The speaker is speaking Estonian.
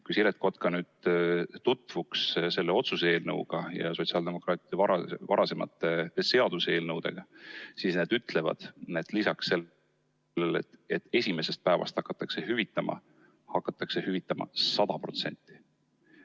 Kui Siret Kotka nüüd tutvuks selle otsuse eelnõuga ja sotsiaaldemokraatide varasemate seaduseelnõudega, siis ta teaks, et need ütlevad, et lisaks sellele, et esimesest päevast hakataks hüvitama, hakataks hüvitama 100%.